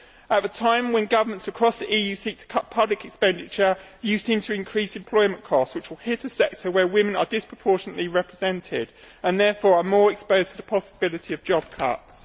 At a time when governments across the EU seek to cut public expenditure, you seek to increase employment costs, which will hit a sector where women are disproportionately represented and therefore more exposed to the possibility of job cuts.